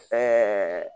Ɛɛ